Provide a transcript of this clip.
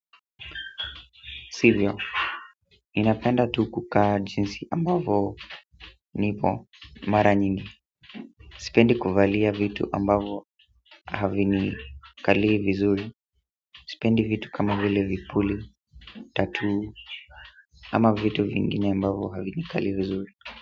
Sivyo ninapenda tu kukaa jinsi ambavyo nipo mara nyingi sipendi kuvalia vitu ambavyo havinikalii vizuri sipendi vitu kama vile vipuli, tattoo ama vitu vingine ambavyo havinikali vizuri.